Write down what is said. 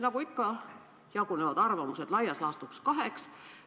Nagu ikka, jagunevad arvamused laias laastus kaheks.